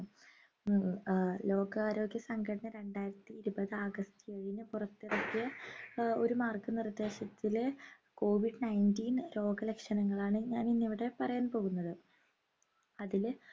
ഹും ഏർ ലോകാരോഗ്യ സംഘടന രണ്ടായിരത്തി ഇരുപത് ആഗസ്ത് എഴിനി പുറത്തിറക്കിയ ഏർ ഒരു മാർഗ നിർദേശത്തിലെ COVID-19 രോഗലക്ഷണങ്ങളാണ് ഞാൻ ഇന്ന് ഇവിടെ പറയാൻ പോകുന്നത് അതില്